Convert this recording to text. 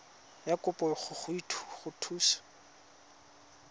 ya kopo go go thusa